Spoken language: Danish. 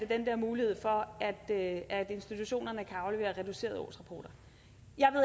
den der mulighed for at at institutionerne kan aflevere reducerede årsrapporter